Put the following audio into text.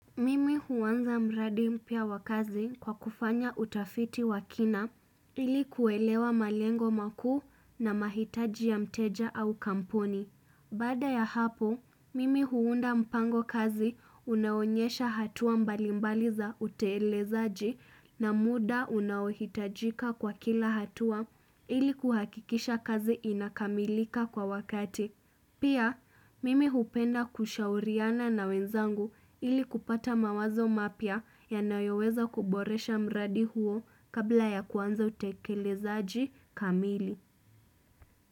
Mimi huanza mradi mpya wa kazi kwa kufanya utafiti wa kina ili kuelewa malengo makuu na mahitaji ya mteja au kamponi. Baada ya hapo, mimi huunda mpango kazi unaoonyesha hatua mbalimbali za uteelezaji na muda unaohitajika kwa kila hatua ili kuhakikisha kazi inakamilika kwa wakati. Pia, mimi hupenda kushauriana na wenzangu ili kupata mawazo mapia ya nayoweza kuboresha mradi huo kabla ya kuanza utekelezaaji kamili.